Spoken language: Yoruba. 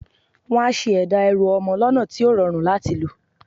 Wọ́n á ṣe ẹ̀dá ẹrù ọmọ lọ́nà tí ó rọrùn láti lò.